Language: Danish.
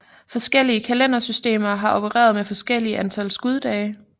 Forskellige kalendersystemer har opereret med forskellige antal skuddage